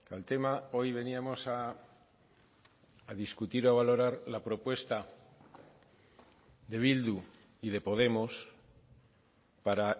el tema hoy veníamos a discutir o valorar la propuesta de bildu y de podemos para